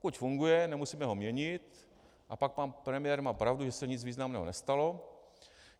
Pokud funguje, nemusíme ho měnit, a pak pan premiér má pravdu, že se nic významného nestalo.